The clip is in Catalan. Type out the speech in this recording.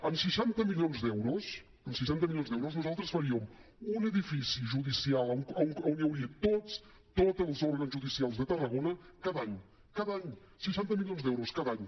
amb seixanta milions d’euros amb seixanta milions d’euros nosaltres faríem un edifici judicial a on hi hauria tots tots els òrgans judicials de tarragona cada any cada any seixanta milions d’euros cada any